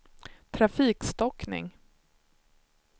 trafikstockning